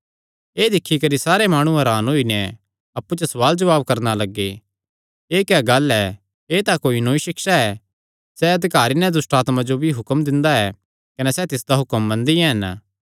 एह़ दिक्खी करी सारे माणु हरान होई नैं अप्पु च सवालजवाब करणा लग्गे एह़ क्या गल्ल ऐ एह़ तां कोई नौई सिक्षा ऐ सैह़ हक्के नैं दुष्टआत्मां जो भी हुक्म दिंदा ऐ कने सैह़ तिसदा हुक्म मनदियां हन